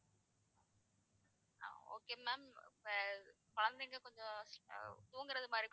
அஹ் okay ma'am ஆஹ் குழந்தைங்க கொஞ்சம் ஆஹ் தூங்குற மாதிரி